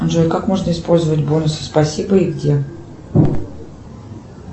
джой как можно использовать бонусы спасибо и где